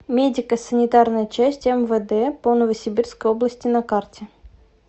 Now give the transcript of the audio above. медико санитарная часть мвд по новосибирской области на карте